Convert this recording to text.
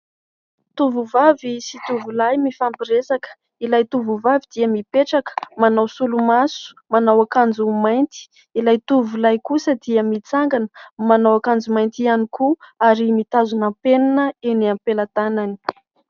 Tovovavy sy tovolahy mifampiresaka. Ilay tovovavy dia mipetraka, manao solomaso, manao akanjo mainty. Ilay tovolahy kosa dia mitsangana, manao akanjo mainty ihany koa ary mitazona penina eny ampelantanany.